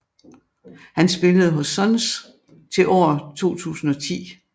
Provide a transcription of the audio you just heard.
Han spillede hos Suns til år 2010